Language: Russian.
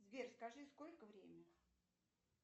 сбер скажи сколько время